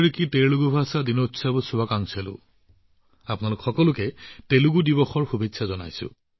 তেলেগু ভাষা দিৱস উদযাপন উপলক্ষে সকলোকে শুভেচ্ছা জনালোঁ